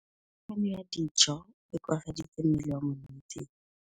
Kganô ya go ja dijo e koafaditse mmele wa molwetse.